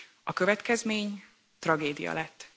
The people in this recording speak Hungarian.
A következmény tragédia lett.